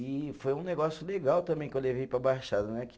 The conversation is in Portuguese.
E foi um negócio legal também que eu levei para a Baixada, né?